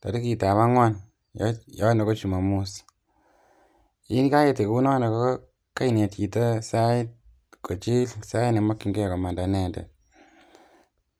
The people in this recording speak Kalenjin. torikitab ang'wan yono ko chumomos, yekakinet kounono ko kainet chito sait koityi sait nemokying'e komanda inendet.